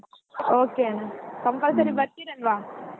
Okay ಅಣ್ಣಾ compulsory ಬರ್ತೀರಾ ಅಲ್ವಾ.